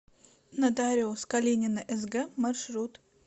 нотариус калинина сг маршрут